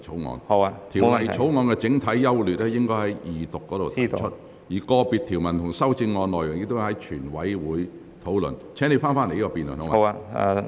有關《條例草案》的整體優劣，議員應在二讀辯論時提出，而個別條文和修正案，亦應在全體委員會審議階段討論。